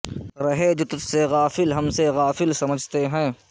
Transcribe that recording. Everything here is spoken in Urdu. رہے جو تجھ سے غافل ہم سے غافل سمجھتے ہیں